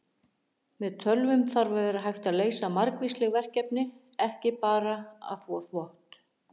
Með tölvum þarf að vera hægt að leysa margvísleg verkefni, ekki bara að þvo þvott!